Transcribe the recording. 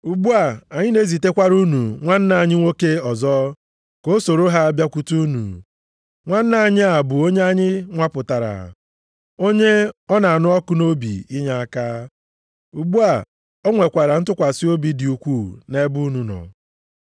Ugbu a anyị na-ezitekwara unu nwanna anyị nwoke ọzọ ka o soro ha bịakwute unu, nwanna anyị a bụ onye anyị nwapụtara, onye ọ na-anụ ọkụ nʼobi inyeaka. Ugbu a, o nwekwara ntụkwasị obi dị ukwuu nʼebe unu nọ.